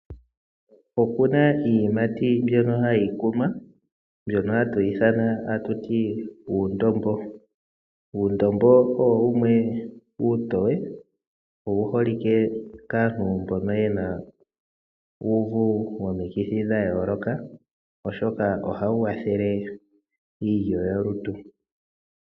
Oku na iiyimati mbyoka hayi kunwa. Ohayi ithanwa kutya uundombo. Uundombo owo iiyimati iitoye nowu holike kaantu mboka ye na uuvu womikithi dha yooloka, oshoka ohawu kwathele iilyo yolutu.